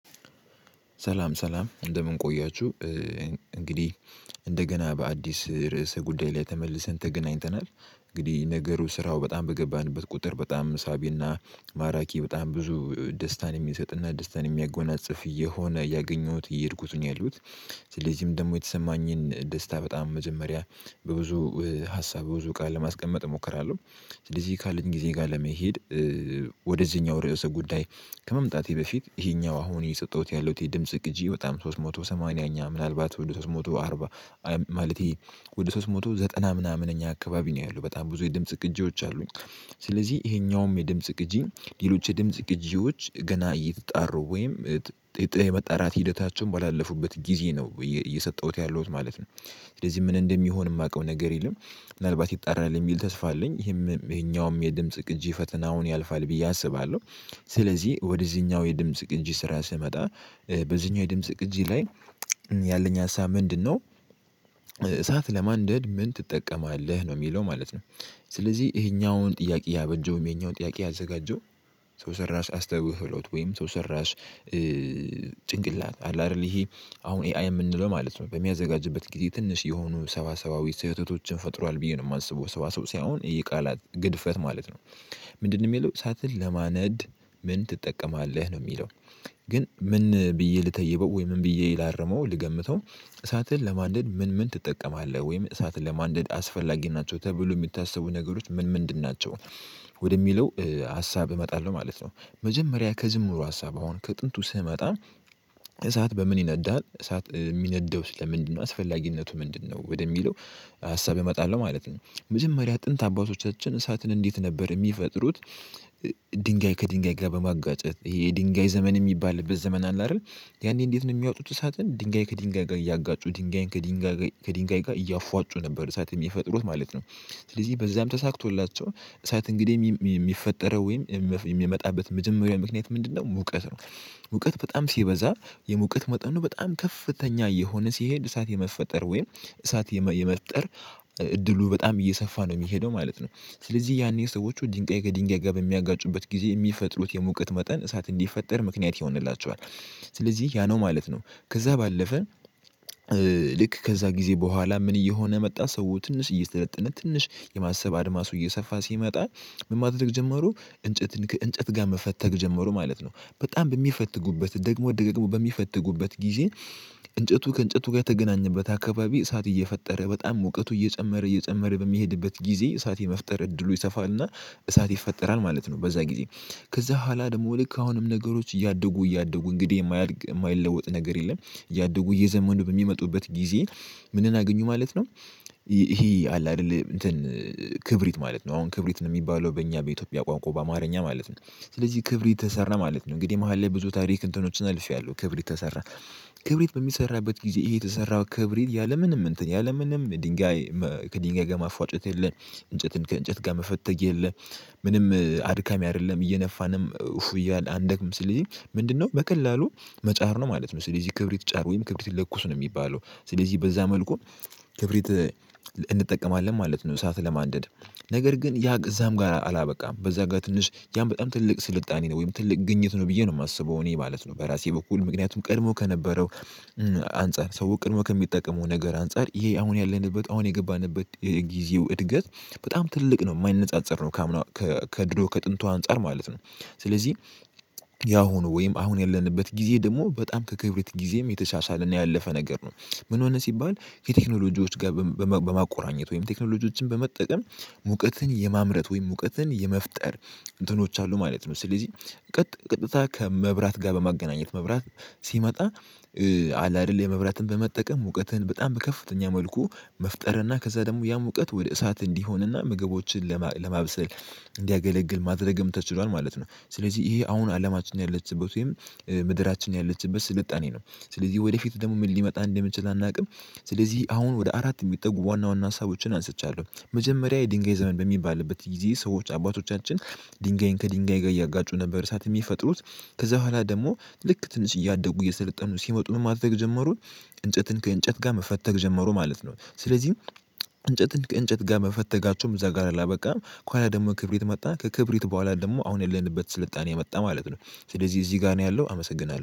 ሰላም ሰላም እንደምን ቆያችሁ። እንግዲህ እንደገና በአዲስ ርዕሰ ጉዳይ ላይ ተመልሰን ተገናኝተናል። እንግዲህ ነገሩ ስራው በጣም በገባንበት ቁጥር በጣም ሳቢና ማራኪ በጣም ብዙ ደስታን የሚሰጥና ደስታን የሚያጎናጽፍ እየሆነ ያገኘሁት እየሄድኩት ነው ያለሁት። ስለዚህም ደግሞ የተሰማኝን ደስታ በጣም መጀመሪያ በብዙ ሀሳብ በብዙ ቃል ለማስቀመጥ እሞክራለሁ። ስለዚህ ካለኝ ጊዜ ጋር ለመሄድ ወደዚህኛው ርዕሰ ጉዳይ ከመምጣቴ በፊት ይሄኛው አሁን እየሰጠሁት ያለው የድምጽ ግጂ በጣም ሶስት ሞቶ ሰማንያኛ ምናልባት ወደ ሶስት ሞቱ አርባ ማለቴ ወደ ሶስት መቶ ዘጠና ምናምን እኛ አካባቢ ነው ያለው በጣም ብዙ የድምጽ ቅጂዎች አሉኝ። ስለዚህ ይሄኛውም የድምጽ ቅጂ ሌሎች የድምጽ ቅጂዎች ገና እየተጣሩ ወይም ጥጥ የመጣራት ሂደታቸውን ባላለፉበት ጊዜ ነው እየሰጠሁት ያለውት ማለት ነው። ስለዚህ ምን እንደሚሆን የማውቀው ነገር የለም። ምናልባት ይጣራል የሚል ተስፋ አለኝ ይሄም ይሄኛውም የድምጽ ቅጂ ፈተናውን ያልፋል ብዬ አስባለሁ። ስለዚህ ወደዚህኛው የድምጽ ቅጅ ስራ ስመጣ በዚህኛው የድምጽ ቅጂ ላይ ያለኝ ሀሳብ ምንድነው? እሳት ለማንደድ ምን ትጠቀማለህ? ነው የሚለው ማለት ነው። ስለዚህ ይሄኛውን ጥያቄ ያበጀውም ይሄኛውን ጥያቄ ያዘጋጀው ሰው ሰራሽ አስተውሎት ወይም ሰራሽ ጭንቅላት አለ አይደል? ይሄ አሁን ኤአይ የምንለው ማለት ነው በሚያዘጋጅበት ጊዜ ትንሽ የሆኑ ሰዋሰዋዊ ስህተቶችን ፈጥሯል ብዬ ነው የማስበው ሰዋሰው ሳይሆን የቃላት ግድፈት ማለት ነው። ምንድነው የሚለው ሰዓትን ለማነድ ምን ትጠቀማለህ ነው የሚለው? ግን ምን ብዬ ልተይበው ወይ ምን ብዬ ላርመው ልገምተው እሳትን ለማንደድ ምን ምን ትጠቀማለህ ወይም እሳትን ለማንደድ አስፈላጊ ናቸው ተብለው የሚታሰቡ ነገሮች ምን ምንድን ናቸው? ወደሚለው ሀሳብ እመጣለሁ ማለት ነው። መጀመሪያ ከጅምሩ ሀሳብ አሁን ከጥንቱ ስመጣ እሳት በምን ይነዳል እሳት የሚነደው ስለ ምንድነው አስፈላጊነቱ ምንድነው ወደሚለው ሀሳብ እመጣለሁ ማለት ነው። መጀመሪያ ጥንት አባቶቻችን እሳትን እንዴት ነበር የሚፈጥሩት? ድንጋይ ከድንጋይ ጋር በማጓጨት ይሄ የድንጋይ ዘመን የሚባልበት ዘመን አለ አይደል? ያኔ እንዴት ነው የሚያወጡት እሳትን ድንጋይ ከድንጋይ ጋር እያጋጩ ድንጋይ ከድንጋይ ከድንጋይ ጋር እያፏጩ ነበር እሳትም የፈጠሩት ማለት ነው። ስለዚህ በዛም ተሳክቶላቸው እሳት እንግዲህ የሚፈጠረው ወይም የሚመጣበት መጀመሪያውን ምክንያት ምንድነው ሙቀት ነው። ሙቀት በጣም ሲበዛ የሙቀት መጠኑ በጣም ከፍተኛ እየሆነ ሲሄድ እሳት የመፈጠር ወይም እሳት የመፍጠር እድሉ በጣም እየሰፋ ነው የሚሄደው ማለት ነው። ስለዚህ ያኔ ሰዎቹ ድንጋይ ከድንጋይ ጋር በሚያጋጩበት ጊዜ የሚፈጥሩት የሙቀት መጠን እሳት እንዲፈጠር ምክንያት ይሆንላችኋል። ስለዚህ ያ ነው ማለት ነው ከዛ ባለፈ ልክ ከዛ ጊዜ በኋላ ምን እየሆነ መጣ ሰው ትንሽ እየሰለጠነ ትንሽ የማሰብ አድማሱ እየሰፋ ሲመጣ። ምን ማድረግ ጀመሩ እንጨት እንጨት ጋር መፈተግ ጀመሩ ማለት ነው በጣም በሚፈትጉበት ደግሞ ደግሞ በሚፈትጉበት ጊዜ። እንጨቱ ከእንጨቱ ጋር የተገናኘበት አካባቢ እሳት እየፈጠረ በጣም ሙቀቱ እየጨመረ እየጨመረ በሚሄድበት ጊዜ እሳት የመፍጠር እድሉ ይሰፋና እሳት ይፈጠራል ማለት ነው። በዛ ጊዜ ከዛ በኋላ ደግሞ ልክ አሁንም ነገሮች እያደጉ እያደጉ እንግዲህ የማያድግ የማይለወጥ ነገር የለም እያደጉ እየዘመኑ በሚመጡበት ጊዜ። ምንን አገኙ ማለት ነው። ይሄ አለ አይደል? እንትን ክብሪት ማለት ነው አሁን ክብሪት ነው የሚባለው በእኛ በኢትዮጵያ ቋንቋ በአማርኛ ማለት ነው። ስለዚህ ክብሪት ተሰራ ማለት ነው እንግዲህ መሃል ላይ ብዙ ታሪክ እንትኖችን አልፌያለሁ ክብሪት ተሰራ። ክብሪት በሚሰራበት ጊዜ ይሄ የተሰራ ክብሪት ያለምንም እንትን ያለምንም ድንጋይ ከድንጋይ ጋር ማፍወጨት የለም። እንጨትን ከእንጨት ጋር መፈተግ የለም። ምንም አድካሚ አይደለም እየነፋንም እያለ አንደክም ስልልህ ምንድነው በቀላሉ? መጫር ነው ማለት ነው። ስለዚህ ክብሪት ጫር ወይም ክብሪት ለኩስ ነው የሚባለው ስለዚህ በዛ መልኩ። ክብሪት እንጠቀማለን ማለት ነው። እሳት ለማንደድ ነገር ግን ያ እዛም ጋር አላበቃም በዛ ጋር ትንሽ ያን በጣም ትልቅ ስልጣኔ ነው ወይም ትልቅ ግኝት ነው ብዬ ነው የማስበው እኔ ማለት ነው በራሴ በኩል ምክንያቱም ቀድሞ ከነበረው አንፃር ሰው ቀድሞ ከሚጠቀመው ነገር አንፃር ይሄ አሁን ያለንበት አሁን የገባንበት የጊዜው እድገት በጣም ትልቅ ነው የማይነጻጸር ነው። ከድሮ ከጥንቱ አንፃር ማለት ነው። ስለዚህ ያሁኑ ወይም አሁን ያለንበት ጊዜ ደግሞ በጣም ከክብረት ጊዜም የተሻሻለና ያለፈ ነገር ነው። ምን ሆነ ሲባል የቴክኖሎጂዎች ጋር በማቆራኘት ወይም ቴክኖሎጂዎችን በመጠቀም ሙቀትን የማምረት ወይም እውቀትን የመፍጠር እንትኖች አሉ ማለት ነው። ስለዚህ ቀጥ ቀጥታ ከመብራት ጋር በማገናኘት መብራት ሲመጣ አለ አይደል የመብራትን በመጠቀም ሙቀትህን በጣም በከፍተኛ መልኩ መፍጠርና ከዛ ደግሞ ያ ሙቀት ወደ እሳት እንዲሆንና ምግቦችን ለማብሰል እንዲያገለግል ማድረግም ተችሏል። ማለት ነው ስለዚህ ይሄ አሁን አለማችን ያለችበት ወይም ምድራችን ያለችበት ስልጣኔ ነው። ስለዚህ ወደፊት ደግሞ ምን ሊመጣ እንደምችል አናውቅም። ስለዚህ አሁን ወደ አራት የሚጠጉ ዋና ዋና ሀሳቦችን አንስቻለሁ መጀመሪያ የድንጋይ ዘመን በሚባልበት ጊዜ ሰዎች አባቶቻችን ድንጋይን ከድንጋይ ጋር እያጋጩ ነበር እርሳት የሚፈጥሩት። ከዛ በኋላ ደግሞ ልክ ትንሽ እያደጉ እየሰለጠኑ ሲመጡ ምን ማድረግ ጀመሩ? እንጨትን ከእንጨት ጋር መፈተግ ጀመሩ ማለት ነው። ስለዚህ እንጨት እንጨት ጋር መፈተጋቸውም እዛ ጋር አላበቃም ከኋላ ደግሞ ክብሪት መጣ ከክብሪት በኋላ ደግሞ አሁን የለንበት ስልጣኔ የመጣ ማለት ነው። ስለዚህ እዚህ ጋር ነው ያለው አመሰግናለሁ